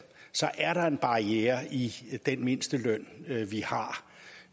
er der en barriere i den mindsteløn vi